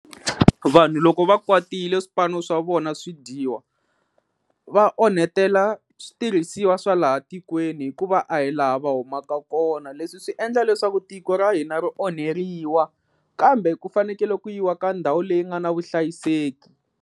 Vanhu loko va kwatile swipano swa vona swi dyiwa va onhetela switirhisiwa swa laha tikweni hikuva a hi laha va humaka kona leswi swi endla leswaku tiko ra hina ri onheriwa kambe ku fanekele ku yiwa ka ndhawu leyi nga na vuhlayiseki.